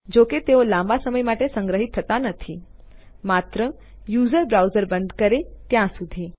જોકે તેઓ લાંબા સમય માટે સંગ્રહિત થતા નથી માત્ર યુઝર બ્રાઉઝર બંધ કરે ત્યાં સુધી